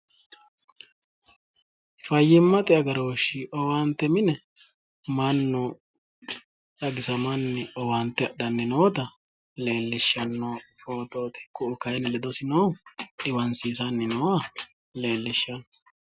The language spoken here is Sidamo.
Fayyimmate agarooshi owaante mine mannu xagisamanni woyi owaante adhanni nooha leellishanno ku'u kayinni ledosi noohu dhiwansiisanni nooha leellishanno